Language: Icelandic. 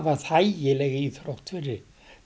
þægileg íþrótt fyrir